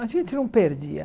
A gente não perdia.